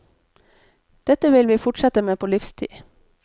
Dette vil vi fortsette med på livstid.